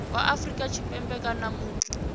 wa afrika tshipembe kana muthu